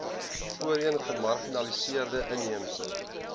voorheen gemarginaliseerde inheemse